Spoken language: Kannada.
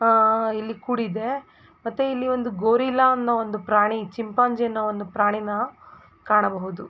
ಹಾ ಇಲ್ಲಿ ಕೂಡಿದೆ ಮತ್ತೆ ಇಲ್ಲಿ ಒಂದು ಗೊರಿಲ್ಲಾ ಅನ್ನೋ ಒಂದು ಪ್ರಾಣಿ ಚಿಂಪಾಂಜಿ ಅನ್ನೋ ಒಂದು ಪ್ರಾಣಿನ ಕಾಣಬಹುದು.